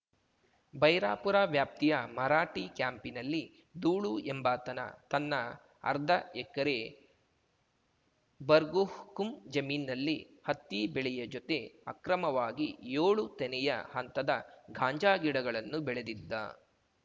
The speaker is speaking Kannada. ಬೈರಾಪುರ ವ್ಯಾಪ್ತಿಯ ಮರಾಠಿ ಕ್ಯಾಂಪಿನಲ್ಲಿ ದೂಳು ಎಂಬಾತನ ತನ್ನ ಅರ್ಧ ಎಕರೆ ಬರ್ಗುಹುಕುಂ ಜಮೀನ್ ನಲ್ಲಿ ಹತ್ತಿ ಬೆಳೆಯ ಜೊತೆ ಅಕ್ರಮವಾಗಿ ಯೋಳು ತೆನೆಯ ಹಂತದ ಗಾಂಜಾ ಗಿಡಗಳನ್ನು ಬೆಳೆದಿದ್ದ